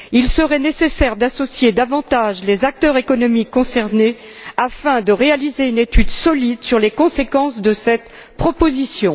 Il serait nécessaire d'associer davantage les acteurs économiques concernés afin de réaliser une étude solide sur les conséquences de cette proposition.